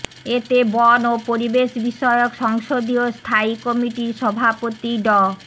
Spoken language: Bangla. এতে বন ও পরিবেশ বিষয়ক সংসদীয় স্থায়ী কমিটির সভাপতি ড